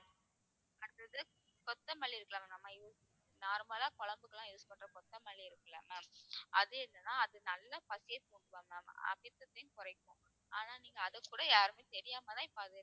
அடுத்தது கொத்தமல்லி இருக்குல்ல ma'am நம்ம us~ normal லா குழம்புக்கு எல்லாம் use பண்ற கொத்தமல்லி இருக்குல்ல ma'am அது என்னன்னா அது நல்லா பசியே கொடுக்கும் ma'am அது பித்தத்தையும் குறைக்கும் ஆனா நீங்க அதைக்கூட யாருமே தெரியாமதான் இப்ப அது